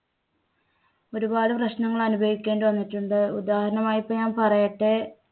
ഒരുപാട് പ്രശ്നങ്ങൾ അനുഭവിക്കേണ്ടി വന്നിട്ടുണ്ട്. ഉദാഹരണമായിപ്പൊ ഞാനിപ്പോ പറയട്ടെ